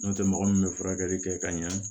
N'o tɛ mɔgɔ min bɛ furakɛli kɛ ka ɲɛ